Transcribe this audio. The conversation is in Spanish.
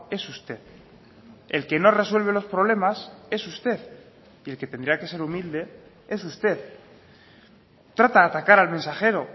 es usted el que no resuelve los problemas es usted y el que tendría que ser humilde es usted trata de atacar al mensajero